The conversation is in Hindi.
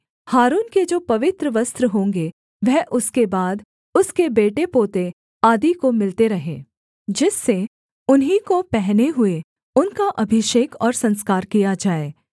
हारून के जो पवित्र वस्त्र होंगे वह उसके बाद उसके बेटे पोते आदि को मिलते रहें जिससे उन्हीं को पहने हुए उनका अभिषेक और संस्कार किया जाए